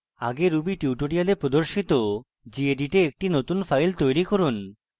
মৌলিক স্তর ruby tutorials প্রদর্শিত gedit a একটি নতুন file তৈরি করুন